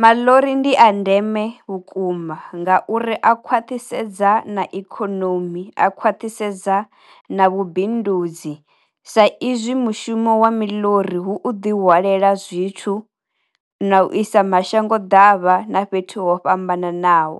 Maḽori ndi a ndeme vhukuma nga uri a khwathisedza na ikhonomi a khwathisedza na vhu bindudzi sa izwi mushumo wa miḽori hu ḓi wanela zwithu, na u isa mashango davha na fhethu ho fhambananaho.